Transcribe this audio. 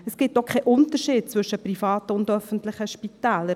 Es gibt auch keinen Unterschied zwischen privaten und öffentlichen Spitälern.